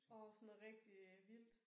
Åh sådan noget rigtigt øh vildt